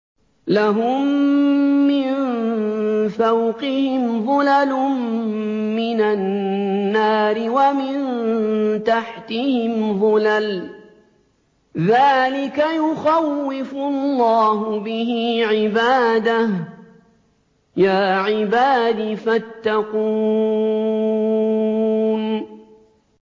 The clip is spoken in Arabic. لَهُم مِّن فَوْقِهِمْ ظُلَلٌ مِّنَ النَّارِ وَمِن تَحْتِهِمْ ظُلَلٌ ۚ ذَٰلِكَ يُخَوِّفُ اللَّهُ بِهِ عِبَادَهُ ۚ يَا عِبَادِ فَاتَّقُونِ